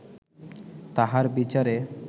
তাহার বিচারে